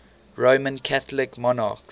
roman catholic monarchs